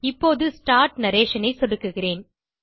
இப்போது start narration ஐ சொடுக்குகிறேன்